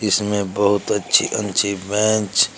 इसमें बहुत अच्छी अच्छी बेंच --